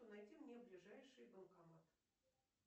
найди мне ближайший банкомат